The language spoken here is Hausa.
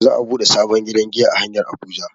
Za'a buɗe sabon gidan giya a hanyar Abuja.